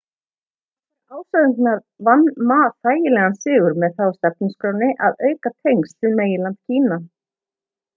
þrátt fyrir ásakanirnar vann ma þægilegan sigur með það á stefnuskránni að auka tengsl við meginland kína